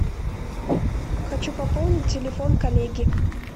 хочу пополнить телефон коллеги